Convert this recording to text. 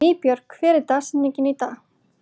Nýbjörg, hver er dagsetningin í dag?